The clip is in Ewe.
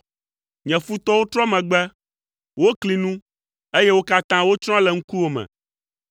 Nye futɔwo trɔ megbe; wokli nu, eye wo katã wotsrɔ̃ le ŋkuwò me.